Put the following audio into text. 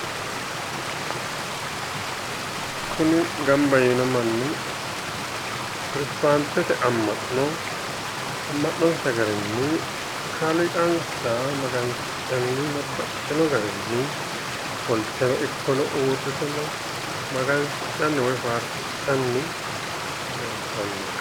Kuri gamba yiino manni protestaantete amma’no amma’nonsa garinni kaaliiqansa Magansidhanni babbaxitino garinni ofolteno ikkono uurrite magnsidhanni woyi faarsidhanni leeltanno.